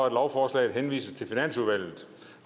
at lovforslagene henvises til finansudvalget